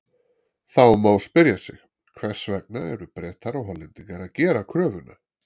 Þá má spyrja sig: Hvers vegna eru Bretar og Hollendingar að gera kröfuna?